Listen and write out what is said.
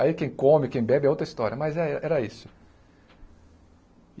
Aí quem come, quem bebe é outra história, mas é era isso.